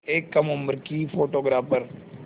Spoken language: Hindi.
एक कम उम्र की फ़ोटोग्राफ़र